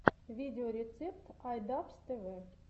видеорецепт ай дабз тэ вэ